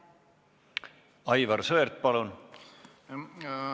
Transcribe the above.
Aivar Sõerd, palun!